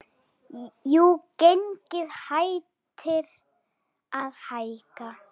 Jú, gengið hættir að hækka.